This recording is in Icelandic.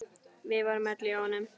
Við vorum öll hjá honum.